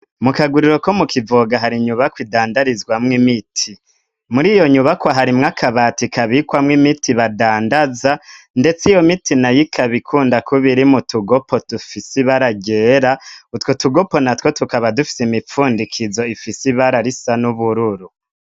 Mu kaguriro ko mu kivuga hari nyubako idandarizwa mw imiti muri iyo nyubako hari mwakabati ikabikwa mw'imiti badandaza .ndetse iyo miti noyo kabikunda kubiri mu tugopo tufisi baragera utwo tugopo na two tukaba dufise imipfundikizo ifisi bararisa n'ubururu.